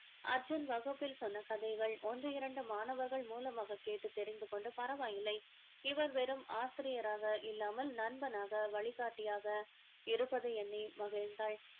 அர்ஜுன் வகுப்பில் சொன்ன கதைகள் ஒன்று இரண்டு மாணவர்கள் மூலமாக கேட்டு தெரிந்து கொண்டு பரவாயில்லை இவர் வெறும் ஆசிரியராக இல்லாமல் நண்பனாக வழிகாட்டியாக இருப்பதை எண்ணி மகிழ்ந்தாள்